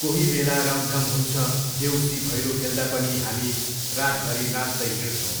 कोही बेला रमझम हुन्छ, देउसी भैलो खेल्दा पनि हामी रातभरि नाँच्दै हिँडछौँ।